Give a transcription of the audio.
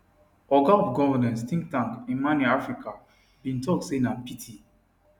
oga of governance think tank imani africa bin tok say na pity